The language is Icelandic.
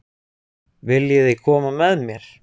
Viljiði koma með mér?